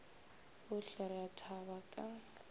bohle re a thaba ka